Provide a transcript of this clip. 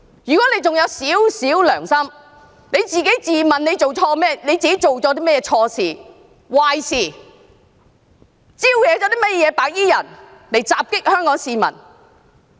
如果何議員還有一點良心，請自問做了甚麼錯事、壞事，招惹白衣人襲擊香港市民。